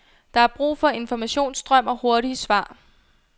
Der er brug for informationsstrøm og hurtige svar.